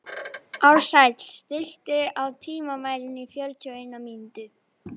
Ársæll, stilltu tímamælinn á fjörutíu og eina mínútur.